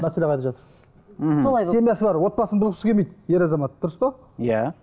мәселе қайда жатыр мхм семьясы бар отбасын бұзғысы келмейді ер азамат дұрыс па иә